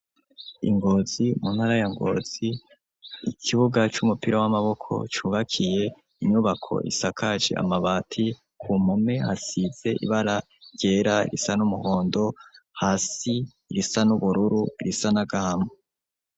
Ingozi mu ntara ya Ngozi, ikibuga c'umupira w'amaboko cubakiye inyubako isakaje amabati, ku mpome hasize ibara ryera, irisa n'umuhondo, hasi risa n'ubururu, risa n'agahama.